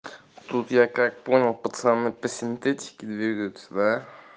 тут я как понял пацаны по синтетики двигаются да